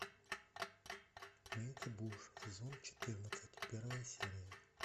мейти буш сезон четырнадцать первая серия